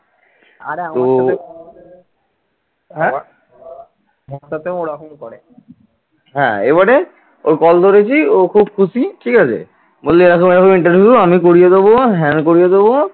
হ্যাঁ, এবারে ওর call ধরেছি ও খুব খুশি ঠিক আছে বলছে এরকম এরকম interview আমি পড়িয়ে দেবো হ্যান করিয়ে দেব